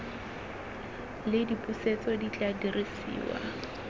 le dipusetso di tla dirisiwa